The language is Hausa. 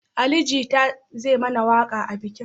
Ali Jita zai mana waƙa a bikin